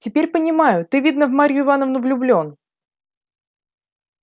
теперь понимаю ты видно в марью ивановну влюблён